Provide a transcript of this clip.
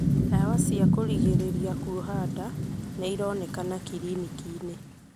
Ndawa cia kũrigĩrĩria kuoha nda nĩironekana kiriniki-inĩ